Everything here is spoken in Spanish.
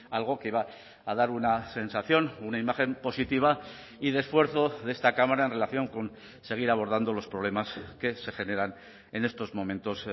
algo que va a dar una sensación una imagen positiva y de esfuerzo de esta cámara en relación con seguir abordando los problemas que se generan en estos momentos